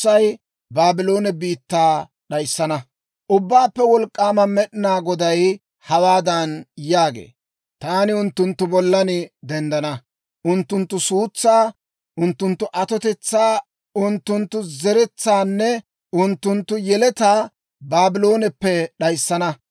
Ubbaappe Wolk'k'aama Med'inaa Goday hawaadan yaagee; «Taani unttunttu bollan denddana; unttunttu suntsaa, unttunttu atotetsaa, unttunttu zeretsaanne unttunttu yeletaa Baablooneppe d'ayissana.